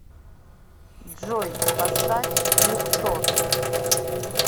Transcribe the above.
джой поставь люксор